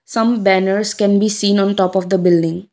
some banners can be seen on top of the building.